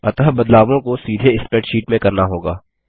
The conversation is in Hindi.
अतः बदलावों को सीधे स्प्रैडशीट में करना होगा